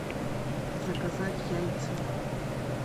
заказать яйца